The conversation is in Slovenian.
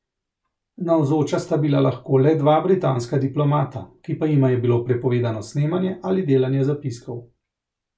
Navzoča sta bila lahko le dva britanska diplomata, ki pa jima je bilo prepovedano snemanje ali delanje zapiskov.